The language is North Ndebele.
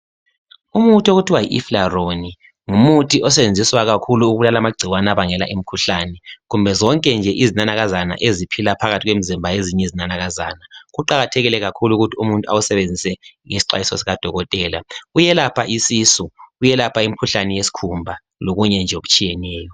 Umuthi okuthiwa yiEflaron ngumuthi osetshenziswa kakhulu ukubulala amagcikwane abangela imikhuhlane. Kumbe zonke nje izinana eziphila phakathi kwemizimba yezinye izinanakazana. Kuqakathekile ukuthi umuntu awusebenzise ngesixwayiso sikadokotela. Uyelapha isisu, uyelapha imikhuhlane yesikhumba lomunye nje okutshiyeneyo.